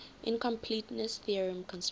incompleteness theorem constructs